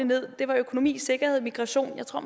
ned var økonomi sikkerhed migration jeg tror